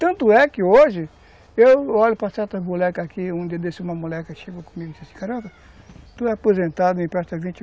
Tanto é que hoje, eu olho para certas molecas aqui, um dia desse, uma moleca chega comigo e diz assim, caramba, tu é aposentado, me empresta vinte